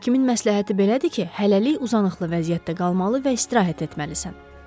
Həkimin məsləhəti belədir ki, hələlik uzanıqlı vəziyyətdə qalmalı və istirahət etməlisən.